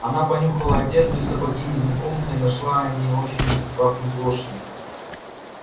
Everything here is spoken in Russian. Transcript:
она понюхала одежду и сапоги незнакомца и нашла они очень пахнут лошадью